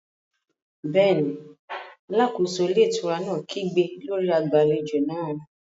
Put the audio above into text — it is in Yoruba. Bẹ́ẹ̀ni, alákóso ilé ìtura náà kígbe lórí agbàlejò náà